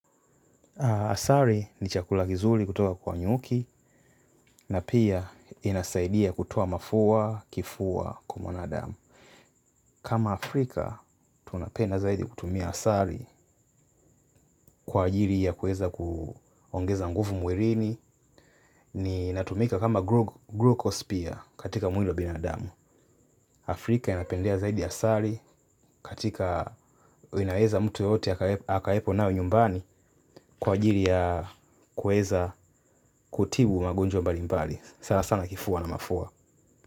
Asali ni chakula kizuli kutoka kwa nyuki na pia inasaidia kutoa mafua, kifua kwa mwanadamu. Kama Afrika, tunapenda zaidi kutumia asali kwa ajili ya kueza kuongeza nguvu mwilini. Na inatumika kama glucose pia katika mwili wa binadamu. Afrika inapendea zaidi asali katika inaweza mtu yeyote akawepo nayo nyumbani kwa ajili ya kueza kutibu magonjwa mbali mbali. Sana sana kifua na mafua.